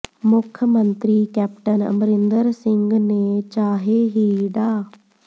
ਮੁੱਖ ਮੰਤਰੀ ਕੈਪਟਨ ਅਮਰਿੰਦਰ ਸਿੰਘ ਨੇ ਚਾਹੇ ਹੀ ਡਾ